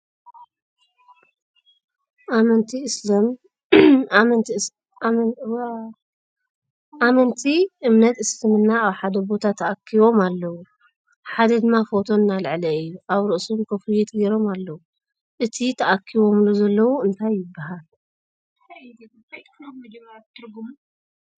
ኣመንቲ እምነት እስልምና ኣብ ሓደ ቦታ ተኣኪቦም ኣለዉ ሓደ ድማ ፎቶ እናልዓዐ እዩ ። ኣብ ርእሶም ኩፍየት ገይሮም ኣለዉ ። እቲ ተኣኪቦሙሉ ዘለዉ እንታይ ይበሃል ?